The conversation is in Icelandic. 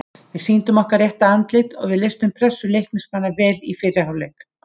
Við sýndum okkar rétta andlit og við leystum pressu Leiknismanna vel í fyrri hálfleik.